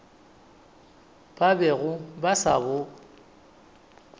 ba bego ba sa bo